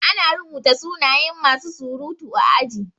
Ana rubuta suna yan masu surutu a aji